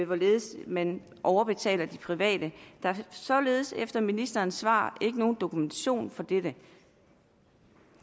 hvorledes man overbetaler de private der er således efter ministerens svar ikke nogen dokumentation for dette